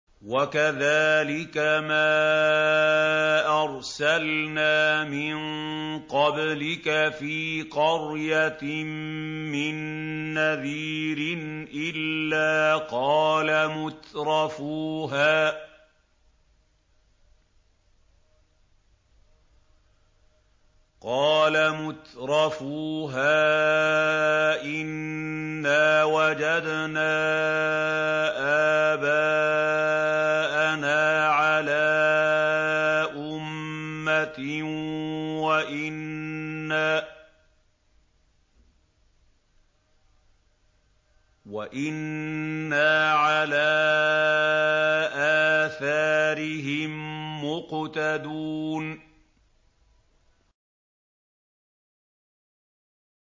وَكَذَٰلِكَ مَا أَرْسَلْنَا مِن قَبْلِكَ فِي قَرْيَةٍ مِّن نَّذِيرٍ إِلَّا قَالَ مُتْرَفُوهَا إِنَّا وَجَدْنَا آبَاءَنَا عَلَىٰ أُمَّةٍ وَإِنَّا عَلَىٰ آثَارِهِم مُّقْتَدُونَ